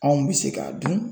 Anw bɛ se k'a dun